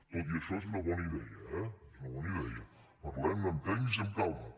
tot i això és una bona idea eh és una bona idea parlem·ne amb tècnics i amb calma